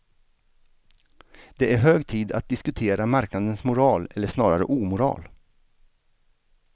Det är hög tid att diskutera marknadens moral eller snarare omoral.